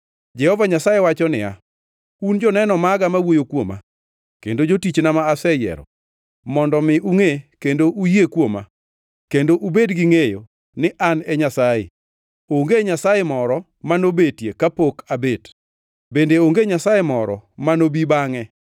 Jehova Nyasaye wacho niya, “Un joneno maga ma wuoyo kuoma” kendo jotichna ma aseyiero, mondo mi ungʼe kendo uyie kuoma kendo ubed gingʼeyo ni An e Nyasaye. Onge Nyasaye moro ma nobetie kapok abet bende onge nyasaye moro manobi bangʼe.